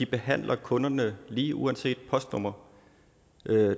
behandler kunderne lige uanset postnummer